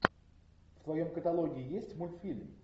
в твоем каталоге есть мультфильм